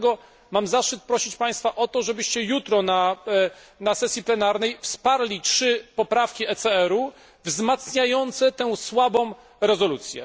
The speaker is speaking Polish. Dlatego mam zaszczyt prosić Państwa o to, żebyście jutro na sesji plenarnej wsparli trzy poprawki ECR u wzmacniające tę słabą rezolucję.